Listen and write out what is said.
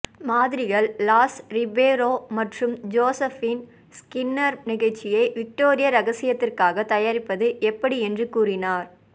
மாதிரிகள் Lais Ribeiro மற்றும் Josephine Skinner நிகழ்ச்சியை விக்டோரியா ரகசியத்திற்காக தயாரிப்பது எப்படி என்று கூறினார்